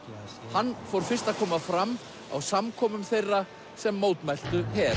hann fór fyrst að koma fram á samkomum þeirra sem mótmæltu her